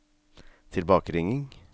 tilbakeringing